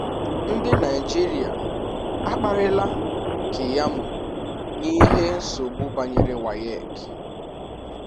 Ndi Naịjịrịa akpari la Keyamo na ihi nsogbu banyere WAEC